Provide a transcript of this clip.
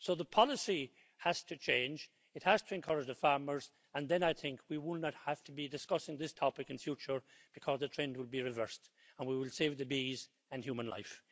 So the policy has to change it has to encourage the farmers, and then I think we will not have to be discussing this topic in future, because the trend would be reversed, and we will save the bees and human life.